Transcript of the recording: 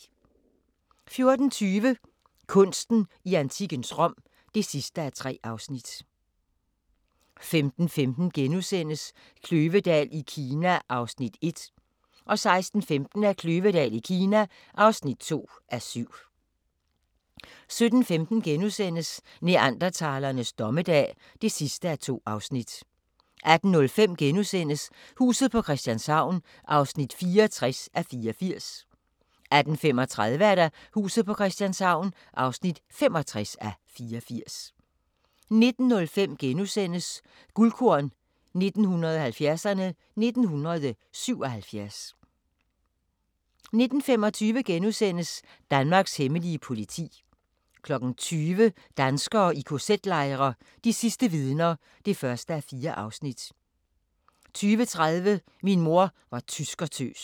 14:20: Kunsten i antikkens Rom (3:3) 15:15: Kløvedal i Kina (1:7)* 16:15: Kløvedal i Kina (2:7) 17:15: Neandertalernes dommedag (2:2)* 18:05: Huset på Christianshavn (64:84)* 18:35: Huset på Christianshavn (65:84)* 19:05: Guldkorn 1970'erne: 1977 * 19:25: Danmarks hemmelige politi * 20:00: Danskere i kz-lejre – de sidste vidner (1:4) 20:30: Min mor var tyskertøs